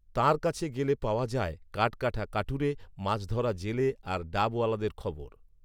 তাঁর কাছে গেলে পাওয়া যায় কাঠকাটা কাঠুরে, মাছধরা জেলে আর ডাবওয়ালাদের খবর